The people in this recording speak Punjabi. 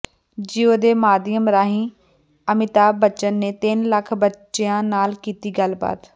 ਜੀਓ ਦੇ ਮਾਧਿਅਮ ਰਾਹੀਂ ਅਮਿਤਾਭ ਬੱਚਨ ਨੇ ਤਿੰਨ ਲੱਖ ਬੱਚਿਆਂ ਨਾਲ ਕੀਤੀ ਗੱਲਬਾਤ